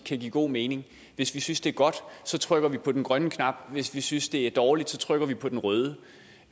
kan give god mening hvis vi synes det er godt så trykker vi på den grønne knap hvis vi synes det er dårligt trykker vi på den røde